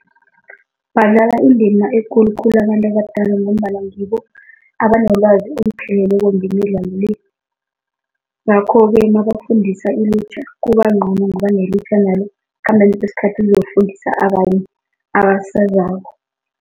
Badlala indima ekulu khulu abantu abadala ngombana ngibo abanolwazi olupheleleko ngemidlalo le, ngakho-ke nabafundisa ilutjha kuba ngcono ngoba nelutjha nalo ekukhambeni kwesikhathi liyokufundisa abanye abasezako.